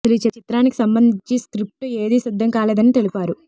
అసలు ఈ చిత్రానికి సంబంధించి స్క్రిప్ట్ ఏదీ సిద్ధం కాలేదని తెలిపారు